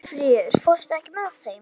Hjörfríður, ekki fórstu með þeim?